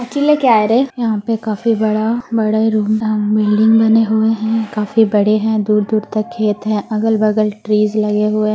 की लेके आ रहे यहां पे काफी बड़ा बड़े रूम बिल्डिंग बना हुआ हैं काफी बड़े हैं दूर-दूर तक खेत है अलग बगल ट्रीज लगे हुए हैं--